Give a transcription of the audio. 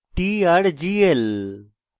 trgl